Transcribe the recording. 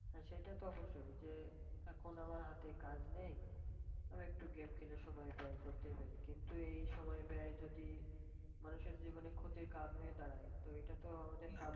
হ্যাঁ সেটা তো অবশ্যই যে এখন আমার হাতে কাজ নেই আমি একটু game খেলে সময় ব্যায় করতেই পারি। কিন্তু এই সময় ব্যায় যদি মানুষের জীবনে ক্ষতির কারন হয়ে দাঁড়ায় তো এটা তো আমাদের,